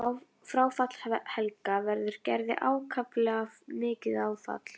Fráfall Helga verður Gerði ákaflega mikið áfall.